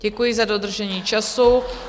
Děkuji za dodržení času.